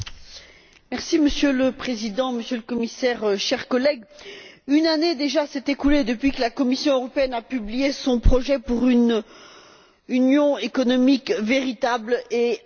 Monsieur le Président, Monsieur le Commissaire, chers collègues, une année déjà s'est écoulée depuis que la Commission européenne a publié son projet pour une union économique véritable et approfondie.